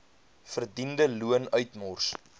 verdiende loon uitmors